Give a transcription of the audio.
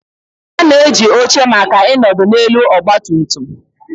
A na-eji oche maka ịnọdụ n'elu ọgba tum tum.